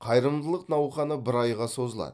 қайырымдылық науқаны бір айға созылады